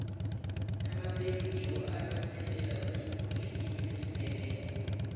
amapedi ngiwo anomthelela omkhulu elimini lesindebele